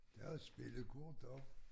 Der også spillekort også